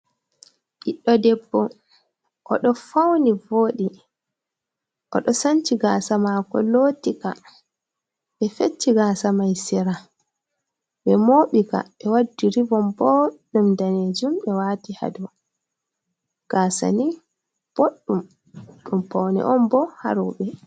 Ɓiɗɗo debbo oɗo fauni vooɗi, oɗo sanci gaasa mako, lootika ɓe fecci gaasa mai sera, ɓe mooɓika, ɓe waddi ribon bo ɗum daneejuum ɓe wati hadou, gaasa ni, boddum ɗum paune on boo ha rewube.